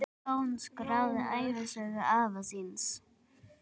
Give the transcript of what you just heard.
Jón skráði ævisögu afa síns.